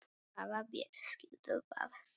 Hvaða ber skyldu það vera?